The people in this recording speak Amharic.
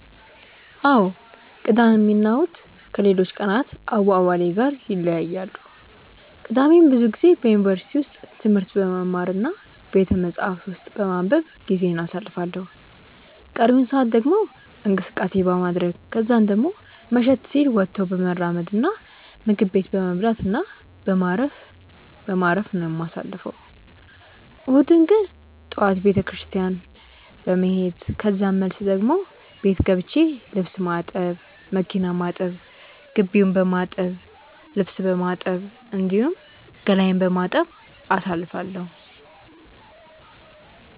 አዎ ቅዳሜ እና እሁድ ከሌሎች ቀናት አዋዋሌ ጋር ይለያያሉ። ቅዳሜን ብዙ ጊዜ በዩኒቨርሲቲ ውስጥ ትምህርት በመማር እና ቤተመጻሕፍት ውስጥ በማንበብ ጊዜዬን አሳልፋለሁ ቀሪውን ሰአት ደግሞ እንቅስቀሴ በማድረረግ ከዛን ደሞ መሸት ሲል ወጥቶ በመራመድ እና ምግብ ቤት በመብላት እና በማረፍ በማረፍ ነው የማሳልፈው። እሁድን ግን ጠዋት ቤተክርስትያን በመሄድ ከዛን መልስ ደሞ ቤት ገብቼ ልብስ ማጠብ፣ መኪና ማጠብ፣ ግቢውን በማጠብ፣ ልብስ በማጠብ፣ እንዲሁም ገላዬን በመታጠብ አሳልፋለሁ።